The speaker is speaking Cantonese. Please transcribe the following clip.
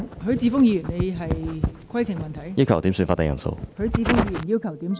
許智峯議員要求點算法定人數。